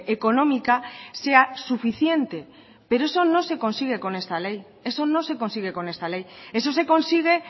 económica sea suficiente pero eso no se consigue con esta ley eso no se consigue con esta ley eso se consigue